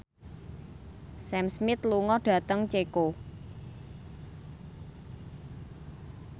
Sam Smith lunga dhateng Ceko